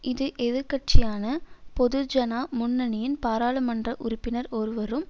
இது எதிர் கட்சியான பொதுஜனா முன்னணியின் பாராளுமன்ற உறுப்பினர் ஒருவரும்